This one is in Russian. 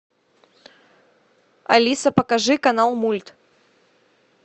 алиса покажи канал мульт